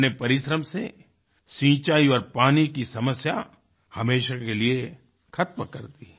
अपने परिश्रम से सिंचाई और पानी की समस्या हमेशा के लिए ख़त्म कर दी